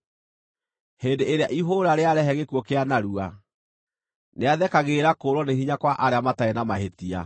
Hĩndĩ ĩrĩa ihũũra rĩarehe gĩkuũ kĩa narua, nĩathekagĩrĩra kũũrwo nĩ hinya kwa arĩa matarĩ na mahĩtia.